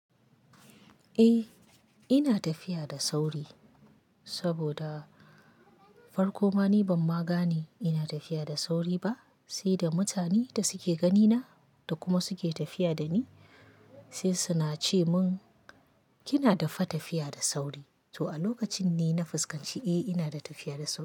Eh, ina tafiya da sauri saboda farko ma ni ban ma gane ina tafiya da sauri ba, sai da mutanen da suke ganina da kuma suke tafiya da ni sai su na ce mun kina da fa tafiya da sauri. To a lokacin ne na fuskanci eh ina da tafiya da sauri.